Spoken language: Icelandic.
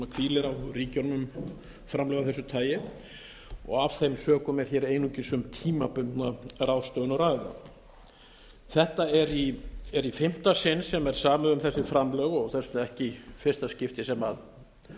hvílir á ríkjunum framlög af þessu tagi af þeim sömu er hér einungis um tímabundna ráðstöfun að ræða þetta er í fimmta sinn sem er samið um þessi framlög og þess vegna ekki í fyrsta skipti sem mál